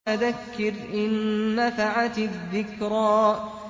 فَذَكِّرْ إِن نَّفَعَتِ الذِّكْرَىٰ